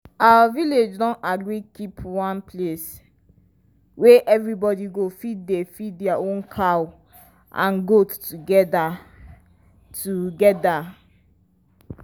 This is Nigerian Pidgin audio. our village don agree keep one place wey everybody go fit dey feed their cow and goat together. together.